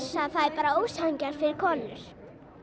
það er bara ósanngjarnt fyrir konur